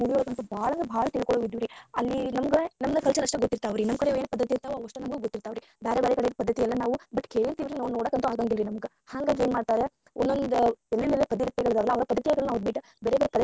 Movie ಒಳಗ ಅಂತೂ ಬಾಳಂದರ ಬಾಳ ತಿಳ್ಕೊಳುವ ಇದ್ವುರಿ ಅಲ್ಲಿ ನಮಗ ನಮ್ಮದ culture ಅಷ್ಟ ಗೊತ್ತಿರ್ತಾವ ರೀ ಪದ್ದತಿ ಇರ್ತವ ಅದಷ್ಟ ನಮಗ ಗೊತ್ತಿರ್ತಾವ ಅವ್ರಿಗೆ ಬಾರೆ ಬಾರೆ ಕಡೆ ಪದ್ಧತಿ ಎಲ್ಲಾ ನಾವ ಕೇಳಿರ್ತೆವಿರಿ but ನೋಡಾಕ ಅಂತು ಆಗಿರಂಗಿಲ್ಲಾ ರೀ ನಮಗ ಹಂಗಾಗಿ ಏನ ಮಾಡ್ತಾರಾ ಒಂದೊಂದ ಊರಿಂದ ಒಂದೊಂದ ಪದ್ಧತಿ ಅದವಲ್ಲರಿ ಪದ್ದತಿಗಳನ್ನ ಬಿಟ್ಟ ಬೇರೆ ಬೇರೆ.